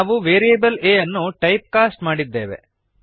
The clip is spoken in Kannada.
ನಾವು ವೇರಿಯೇಬಲ್ a ಅನ್ನು ಟೈಪ್ ಕಾಸ್ಟ್ ಮಾಡಿದ್ದೇವೆ